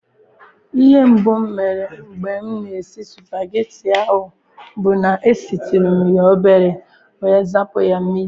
Ihe mbụ m mere mgbe m na-esi spageti ahụ bụ na-esitụrụ m ya obere wee zapụ ya mmiri.